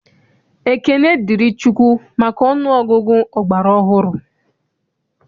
Ekene dịrị Chukwu maka ọnụ ọgụgụ ọgbara ọhụrụ.